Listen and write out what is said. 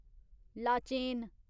Lachen